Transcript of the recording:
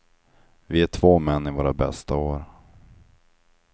Vi är två män i våra bästa år.